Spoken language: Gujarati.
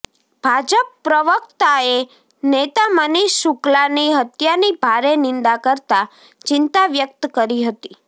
ભાજપ પ્રવક્તાએ નેતા મનીષ શુક્લાની હત્યાની ભારે નિંદા કરતા ચિંતા વ્યક્ત કરી હતી